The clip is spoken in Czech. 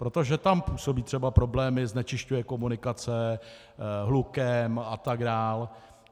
Protože tam působí třeba problémy, znečišťuje komunikace, hlukem atd.